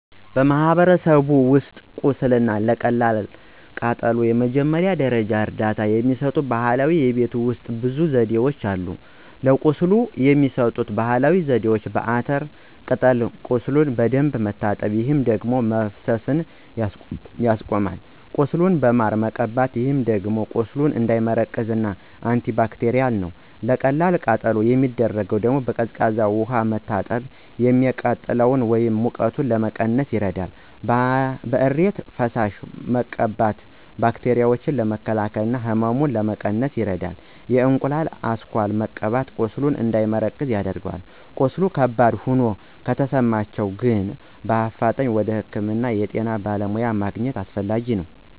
በማህበረሰቦች ውስጥ ቁስል እና ለቀላል ቃጠሎ የመጀመሪያ ደረጃ እርዳታ የሚሰጡ ባህላዊ የቤት ውሰጥ ብዙ ዘዴዎች አሉ። ለቁስል የሚሰጠው ባህላዊ ዜዴ፦ በአተር ቅጠል ቁሱሉን በደንብ መታጠብ፣ ይህ የደም መፈሰሱን ያስቆማል። ቁስሉን ማር መቀባት ይህ ደግሞ ቁስሉ እንዳይመረቅዝ እና አንቲባክቴርል ነው። ለቀላል ቃጠሎ የሚደረገው ደግሞ፦ በቀዝቃዛ ውሃ መታጠብ፤ የሚቃጥለን ወይም ሙቀቱን ለመቀነስ ይረዳል። በእሬት ፈሳሽ መቀባት ባክቴራዎችን ለመከላከል እና ህመሙን ለመቀነስ ይረዳል። የእንቁላሉ አስኳል መቀባት ቁስሉ እንዳይደርቅ ያደርጋል። ቀስሉ ከባድ ሆኖ ከተሰማቸሁ ግን በአፋጣኝ ወደ ህክምና የጤና በለሙያ ማግኝት አሰፈላጊ ነው።